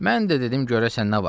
Mən də dedim görəsən nə var.